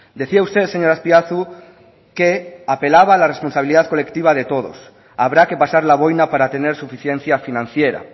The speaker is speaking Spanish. decía usted señor azpiazu que apelaba a la responsabilidad colectiva de todos habrá que pasar la boina para tener suficiencia financiera